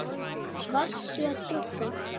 Varstu að gubba?